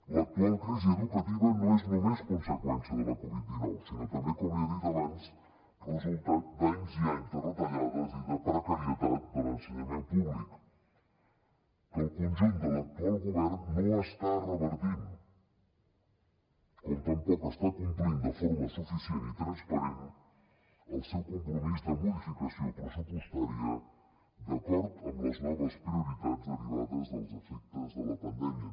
l’actual crisi educativa no és només conseqüència de la covid dinou sinó també com li he dit abans resultat d’anys i anys de retallades i de precarietat de l’ensenyament públic que el conjunt de l’actual govern no està revertint com tampoc està complint de forma suficient i transparent el seu compromís de modificació pressupostària d’acord amb les noves prioritats derivades dels efectes de la pandèmia